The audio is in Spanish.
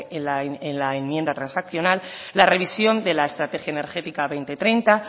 en la enmienda transaccional la revisión de la estrategia energética dos mil treinta